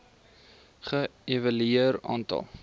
ge evalueer aantal